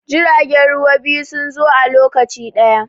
jiragen ruwa biyu sun zo a lokaci ɗaya